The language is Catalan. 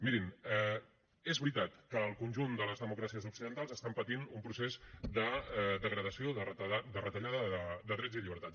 mirin és veritat que el conjunt de les democràcies occidentals estan patint un procés de degradació de retallada de drets i llibertats